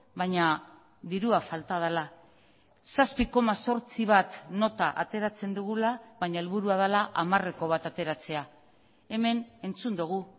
baina dirua falta dela zazpi koma zortzi bat nota ateratzen dugula baina helburua dela hamareko bat ateratzea hemen entzun dugu